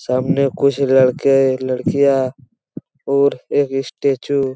सामने कुछ लड़के लड़कियां और एक स्टेचू --